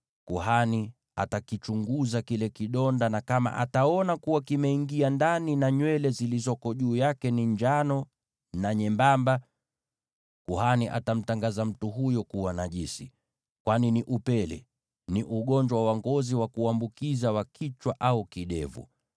kuhani atakichunguza kile kidonda, na kama ataona kuwa kimeingia ndani, na nywele zilizoko juu yake ni njano na nyembamba, kuhani atamtangaza mtu huyo kuwa najisi, kwani ni upele; ni ugonjwa wa ngozi wa kuambukiza wa kichwa au kidevu.